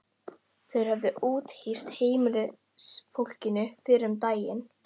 Þeir höfðu úthýst heimilisfólkinu fyrr um daginn.